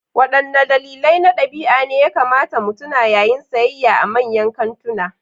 Waɗanne dalilai na ɗabi'a ne ya kamata mu tuna yayin sayayya a manyan kantuna?